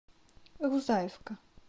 рузаевка